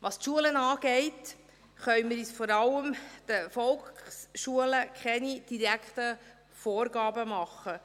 Was die Schulen angeht, können wir vor allem den Volksschulen keine direkten Vorgaben machen.